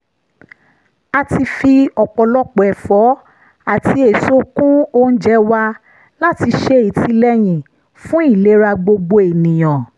a ti fi ọ̀pọ̀lọpọ̀ ẹ̀fọ́ àti èso kún oúnjẹ wa láti ṣe ìtìlẹ́yìn fún ìlera gbogbo ènìyàn